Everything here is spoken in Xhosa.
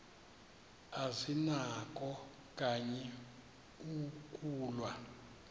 azinakho kanye ukulwa